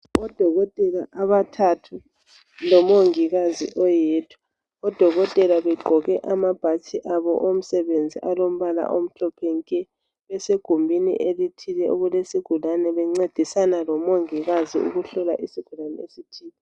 Odokotela abathathu lomongikazi oyedwa. Odokotela begqoke amabhatshi abo omsebenzi alombala omhlophe nke. Besengumbini elithile okulesigulane bencedisana lo mongikazi ukuhlola isigulani esithile.